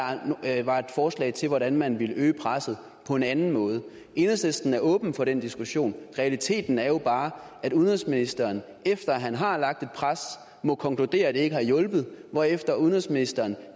var et forslag til hvordan man ville øge presset på en anden måde enhedslisten er åben for den diskussion realiteten er bare at udenrigsministeren efter at han har lagt et pres må konkludere at det ikke har hjulpet hvorefter udenrigsministeren